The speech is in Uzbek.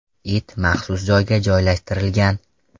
It maxsus joyga joylashtirilgan.